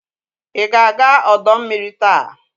Ị ga-aga ọdọ mmiri taa?